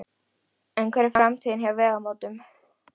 En hver er framtíðin hjá Vegamótum?